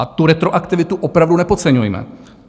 A tu retroaktivitu opravdu nepodceňujme.